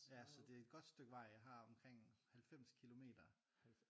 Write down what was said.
Ja så det er et godt stykke vej jeg har omkring 90 kilometer